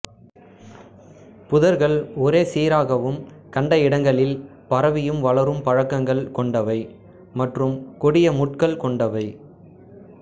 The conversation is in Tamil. புதர்கள் ஒரே சீராகவும் கண்ட இடங்களில் பரவியும் வளரும் பழக்கங்கள் கொண்டவை மற்றும் கொடிய முட்கள் கொண்டவை